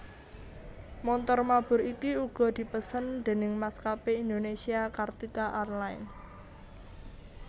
Montor mabur iki uga dipesen déning Maskapé Indonésia Kartika Airlines